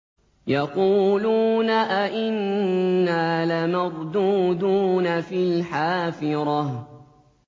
يَقُولُونَ أَإِنَّا لَمَرْدُودُونَ فِي الْحَافِرَةِ